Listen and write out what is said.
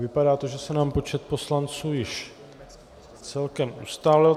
Vypadá to, že se nám počet poslanců již celkem ustálil.